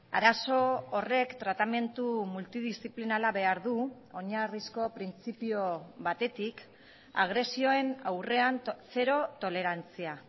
arazo horrek tratamendu multidiziplinala behar du oinarrizko printzipio batetik agresioen aurrean zero tolerantzia